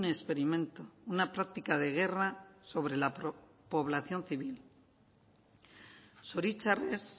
experimento una práctica de guerra sobre la población civil zoritxarrez